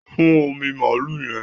Fún omú maalu yẹn